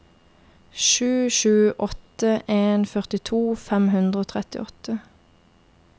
sju sju åtte en førtito fem hundre og trettiåtte